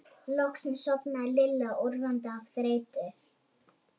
Loksins sofnaði Lilla úrvinda af þreytu.